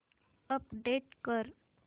update कर